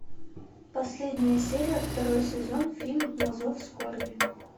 последняя серия второй сезон фильм на зов скорби